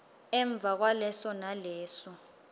emva kwaleso naleso